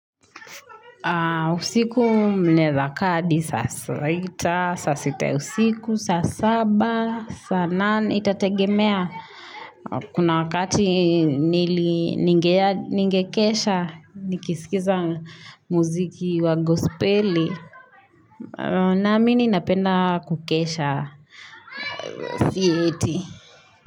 Usiku mneza kaa adi, saa sita, saa sita ya usiku, saa saba, saa nane, itategemea. Kuna wakati nili ningekesha, nikisikiza muziki wa gospeli. Naamini napenda kukesha. Siye eti.